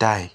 land.